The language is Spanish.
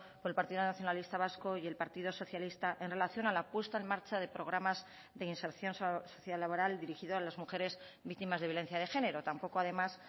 por el partido nacionalista vasco y el partido socialista en relación a la puesta en marcha de programas de inserción socio laboral dirigido a las mujeres víctimas de violencia de género tampoco además